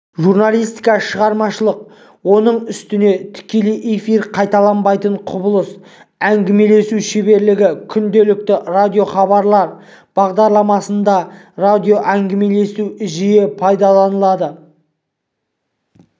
журналистика шығармашылық оның үстіне тікелей эфир қайталанбайтын құбылыс әңгімелесу шеберлігі күнделікті радиохабарлар бағдарламасында радиоәңгімелесу жиі пайдаланылады